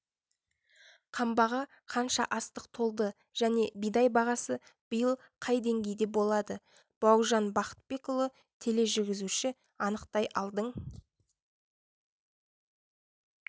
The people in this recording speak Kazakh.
қамбаға қанша астық толды және бидай бағасы биыл қай деңгейде болады бауыржан бақытбекұлы тележүргізуші анықтай алдың